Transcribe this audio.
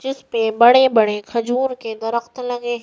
जिस पे बड़े-बड़े खजूर के हैं।